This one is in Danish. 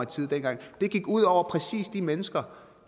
tide dengang det gik ud over præcis de mennesker